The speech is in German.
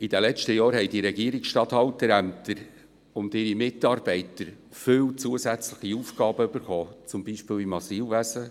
In den letzten Jahren wurden den Regierungsstatthalterämtern viele zusätzliche Aufgaben zugewiesen, etwa im Asylwesen;